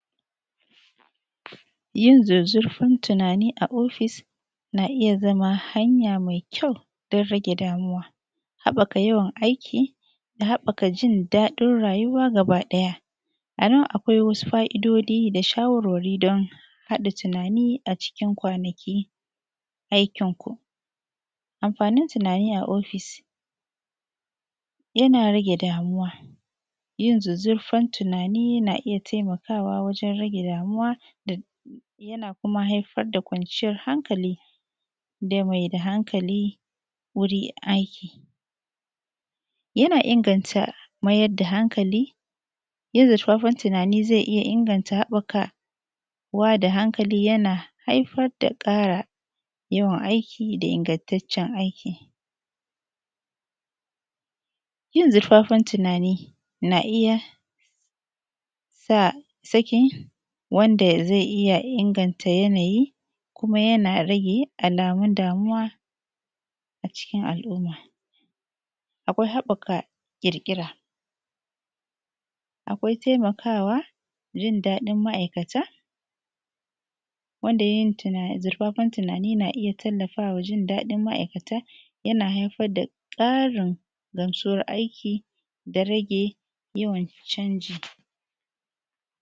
yin zuzzurfin tunani a ofis na iya zama hanya mai kyau don rage damuwa habaka yawan aiki da habaka yin dadin rayuwa gaba daya anan akwai wadansu fa’idodi da shawarwari don hada tunani a cikin kwanakin aikin ku amfanin tunani a ofis yana rage damuwa yin zuzzurfan tunani na iya taimakawa wajan rage damuwa yana kuma haifar da kwanciyar hankali dan mai da hankali dan mai da hankali wurin aiki yana inganta mayar da hankali yin zuzzurfan zai iya inganta habbakawa da hankali yana haifar da kara yawan aiki da ingantacicen aiki yin zuzzurfan tunani na iya sa saki wanda zai iya inganta yanayi kuma yana rage alamun damuwa acikin al’umma akwai habaka kirkira akwai taimakawa jin dadin ma’aikata wanda yin zuzzurfan tunani yana iya tallfawa jin dadin ma’aikata yana haifar da karin gamsuwar aiki da rage yawan canji